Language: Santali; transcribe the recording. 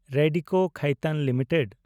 ᱨᱮᱰᱤᱠᱳ ᱠᱷᱟᱭᱛᱟᱱ ᱞᱤᱢᱤᱴᱮᱰ